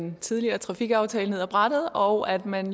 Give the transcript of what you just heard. den tidligere trafikaftale ned ad brættet og at man